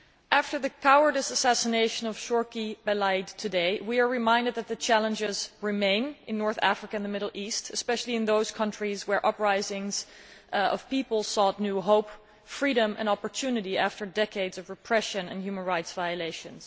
After the cowardly assassination of Chokri Belaid today we are reminded that challenges remain in North Africa and the Middle East, especially in those countries which witnessed uprisings as the people sought new hope, freedom and opportunity after decades of repression and human rights violations.